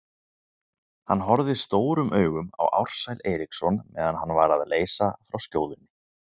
Hann horfði stórum augum á Ársæl Eiríksson meðan hann var að leysa frá skjóðunni.